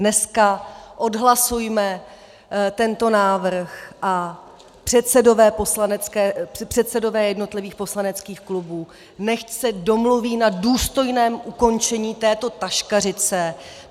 Dneska odhlasujme tento návrh a předsedové jednotlivých poslaneckých klubů nechť se domluví na důstojném ukončení této taškařice.